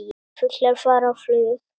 Fuglar fara á flug.